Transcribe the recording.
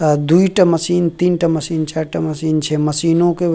अ दुइटा मशीन तीन टा मशीन चार टा मशीन छै मशीनो के --